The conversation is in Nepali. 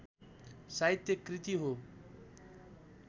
साहित्य कृति हो